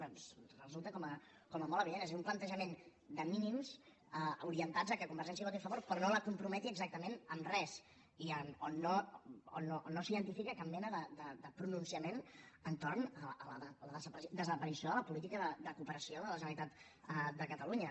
bé resulta com a molt evident és a dir un plantejament de mínims orientats perquè convergència hi voti a favor però no la comprometi exactament en res i on no s’identifica cap mena de pronunciament entorn de la desaparició de la política de cooperació de la generalitat de catalunya